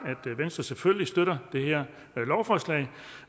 at venstre selvfølgelig støtter det her lovforslag